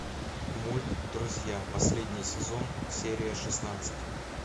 мульт друзья последний сезон серия шестнадцать